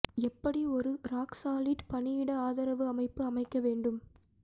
எப்படி ஒரு rock solid பணியிட ஆதரவு அமைப்பு அமைக்க வேண்டும்